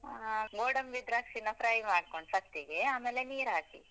ಆ ಗೋಡಂಬಿ, ದ್ರಾಕ್ಷಿನ fry ಮಾಡ್ಕೊಂಡು first ಗೆ ಆಮೇಲೆ ನೀರ್ ಹಾಕಿ.